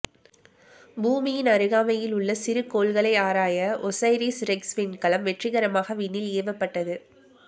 பூமியின் அருகாமையில் உள்ள சிறுகோள்களை ஆராய ஒசைரிஸ் ரெக்ஸ் விண்கலம் வெற்றிகரமாக விண்ணில் ஏவப்பட்டது